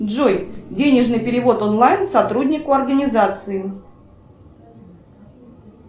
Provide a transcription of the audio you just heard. джой денежный перевод онлайн сотруднику организации